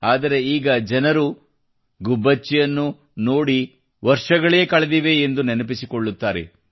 ಆದರೆ ಈಗ ಜನರು ಗುಬ್ಬಚ್ಚಿಯನ್ನು ನೋಡಿ ವರ್ಷಗಳೇ ಕಳೆದಿವೆ ಎಂದು ನೆನಪಿಸಿಕೊಳ್ಳುತ್ತಾರೆ